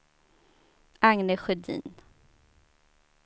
Agne Sjödin